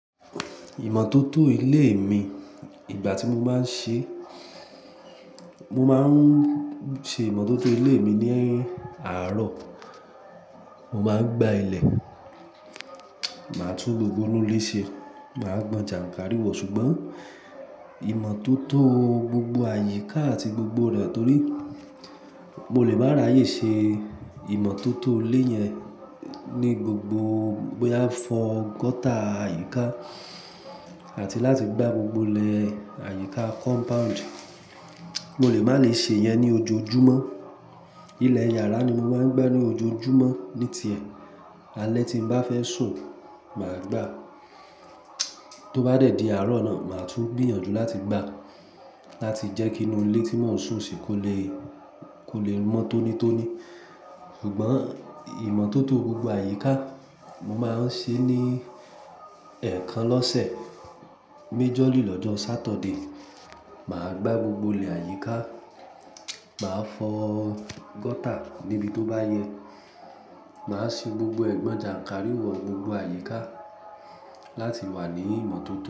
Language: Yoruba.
Ìmọ́tótó ilé mi, ìgbà tí mo máa ń ṣe, mo máa ń ṣe ìmọ́tótó ilé mi ní àárọ̀, mo máa ń gbá ilẹ̀, màá tú gbogbo inú ilé ṣe, màá gbọn jànkárìwọ̀. Ṣùgbọ́n ìmọ́tótó gbogbo àyíká àti gbogbo rẹ̀ torí mo lè má ráyè ṣe ìmọ́tótó ilé yẹn ní gbogbo, bóyá fọ gọ́tà àyíká àti láti gbá gbogbo ilẹ̀ àyíká kọ́mpáùǹdì, mo lè má lè ṣe yẹn ní ojoojúmọ́. Ilẹ̀ yàrá ni mo máa ń gbá ní ojoojúmọ́ ní tiẹ̀. Alẹ́ tí n bá fẹ́ sùn, màá gbá. Tó bá dẹ̀ di àárọ̀ náà, màá tún gbìyànjú láti gbá, láti jẹ́ kí inú ilé tí mò ń sùn sí kò lè, kò lè mọ́ tóní tóní. Ṣùgbọ́n ìmọ́tótó gbogbo àyíká, mo máa ń ṣe ní ẹ̀ẹ̀kan lọ́sẹ̀, méjọ lílọ́jọ́ Satọdé. Màá gbá gbogbo ilẹ̀ àyíká, màá fọ́ gọ́tà níbi tó bá yẹ, màá ṣe gbogbo ẹ̀gbọ́n jànkárìwọ̀ gbogbo àyíká láti wà ní ìmọ́tótó.